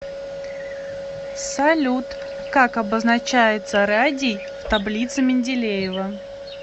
салют как обозначается радий в таблице менделеева